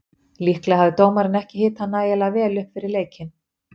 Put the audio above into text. Líklega hafði dómarinn ekki hitað nægilega vel upp fyrir leikinn.